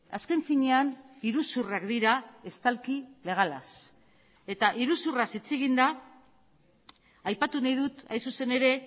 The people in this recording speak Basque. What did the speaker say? azken finean iruzurrak dira estalki legalaz eta iruzurraz hitz eginda aipatu nahi dut hain zuzen ere